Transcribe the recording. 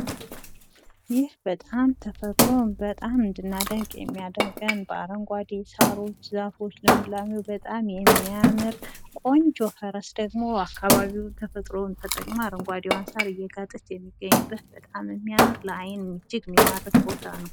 ይህ በጣም ተፈጥሮን እንድናደንቅ የሚያደርገን በአረንጓዴ ዛፎች ፣ ሳሮች ፣ ልምላሜው በጣም የሚያምር ቆንጆ ፈረስ ደሞ አካባቢውን ፣ ተፈጥሮን ተጠቅሞ አረንጓዴውን ሳር እየጋጠች የሚገኙበት በጣም የሚያምር ለ አይን እጅግ የሚማርክ ቦታ ነው።